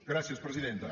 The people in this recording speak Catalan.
gràcies presidenta